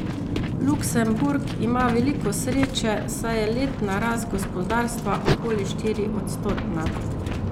Luksemburg ima veliko sreče, saj je letna rast gospodarstva okoli štiriodstotna.